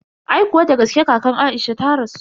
Aikuwa dagaske kakan Aisha ta rasu.